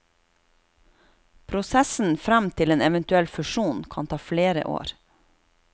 Prosessen frem til en eventuell fusjon kan ta flere år.